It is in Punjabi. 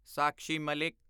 ਸਾਕਸ਼ੀ ਮਾਲਿਕ